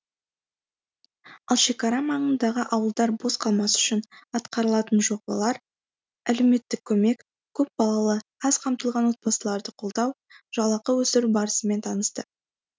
ал шекара маңындағы ауылдар бос қалмас үшін атқарылатын жобалар әлеуметтік көмек көпбалалы аз қамтылған отбасыларды қолдау жалақы өсіру барысымен танысты